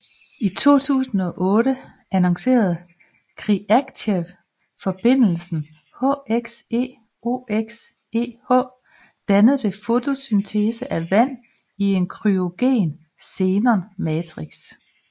I 2008 annoncerede Khriachtchev forbindelsen HXeOXeH dannet ved fotolyse af vand i en kryogen xenon matrix